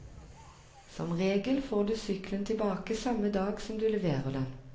Som regel får du sykkelen tilbake samme dag som du leverer den.